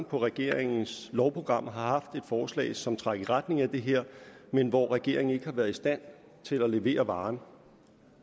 på regeringens lovprogram to gange har haft et forslag som trak i retning af det her men hvor regeringen ikke har været i stand til at levere varen